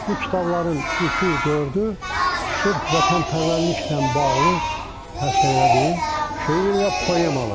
Bu kitabların üçü, dördü sırf vətənpərvərliklə bağlı həsr elədiyim şeir və poemalardır.